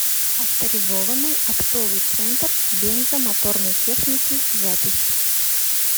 авторизованный оптовый центр бензо моторной техники запись